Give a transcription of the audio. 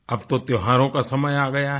अब तो त्योहारों का समय आ गया है